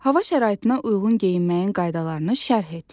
Hava şəraitinə uyğun geyinməyin qaydalarını şərh et.